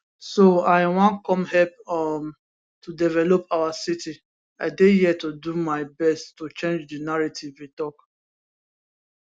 so i wan come help um to develop our city i dey here to do my best to change di narrative e tok